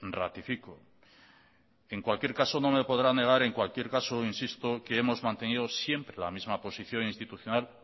ratifico en cualquier caso no me podrá negar en cualquier caso insisto que hemos mantenido siempre la misma posición institucional